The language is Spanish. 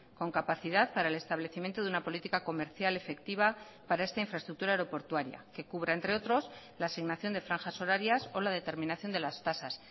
con capacidad para el establecimiento de una política comercial efectiva para esta infraestructura aeroportuaria que cubra entre otros la asignación de franjas horarias o la determinación de las tasas